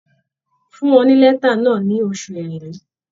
Fún wọn ní lẹ́tà náà ní oṣù Èrèlé.